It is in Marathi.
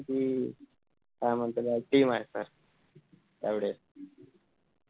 जशी काय म्हणताना team